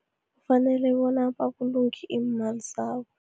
Kufanele bona babulunge iimali zabo.